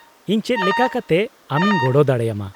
-ᱤᱧ ᱪᱮᱫ ᱞᱮᱠᱟ ᱠᱟᱛᱮ ᱟᱢᱤᱧ ᱜᱚᱲᱚ ᱫᱟᱲᱮᱭᱟᱢᱟ ?